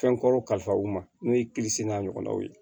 Fɛn kɔrɔ kalifa u ma n'o ye n'a ɲɔgɔnnaw ye